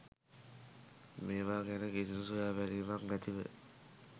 මේවා ගැන කිසිදු සොයාබැලීමක් නැතිව